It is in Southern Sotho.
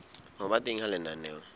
ho ba teng ha lenaneo